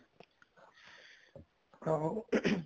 ਹਾਂ ਹਾਂ ing